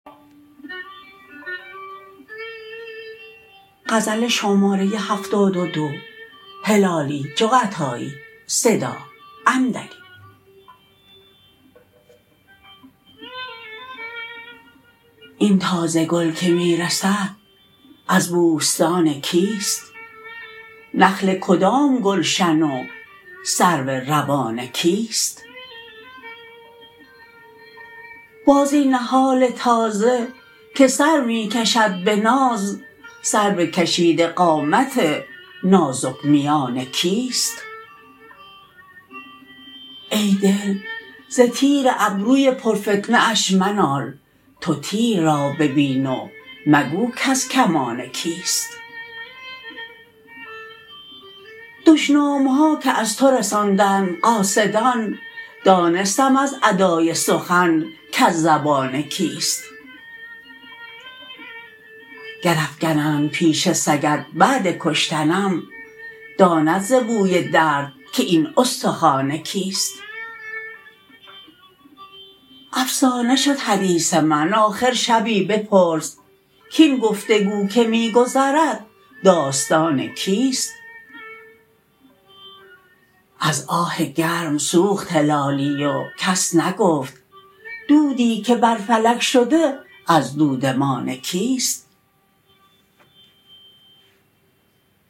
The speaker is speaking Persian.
این تازه گل که می رسد از بوستان کیست نخل کدام گلشن و سرو روان کیست باز این نهال تازه که سر می کشد بناز سرو کشیده قامت نازک میان کیست ای دل ز تیر ابروی پر فتنه اش منال تو تیر را ببین و مگو کز کمان کیست دشنامها که از تو رساندند قاصدان دانستم از ادای سخن کز زبان کیست گر افگنند پیش سگت بعد کشتنم داند ز بوی درد که این استخوان کیست افسانه شد حدیث من آخر شبی بپرس کین گفتگو که می گذرد داستان کیست از آه گرم سوخت هلالی و کس نگفت دودی که بر فلک شده از دودمان کیست